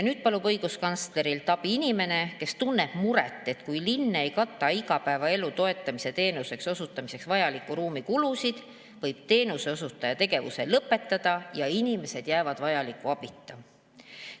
Nüüd palus õiguskantslerilt abi inimene, kes tunneb muret, et kui linn ei kata igapäevaelu toetamise teenuse osutamiseks vajaliku ruumi kulusid, võib teenuseosutaja tegevuse lõpetada ja inimesed jäävad vajaliku abita.